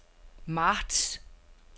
marts